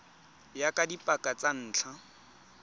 ya ka dipaka tsa ntlha